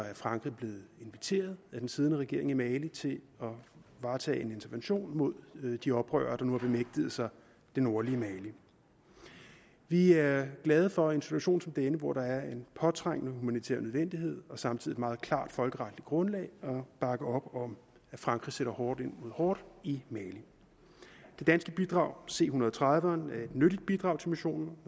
er frankrig blevet inviteret af den siddende regering i mali til at varetage en intervention mod de oprørere der nu har bemægtiget sig det nordlige mali vi er glade for i en situation som denne hvor der er en påtrængende humanitær nødvendighed og samtidig et meget klart folkeretligt grundlag at bakke op om at frankrig sætter hårdt mod hårdt i mali det danske bidrag c en hundrede og tredive eren er et nyttigt bidrag til missionen